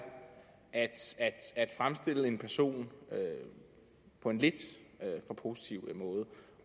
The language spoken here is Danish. at fremstille en person på en lidt for positiv måde